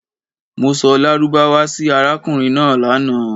Mo sọ lárúbáwá sì arákùnrin náà lànà.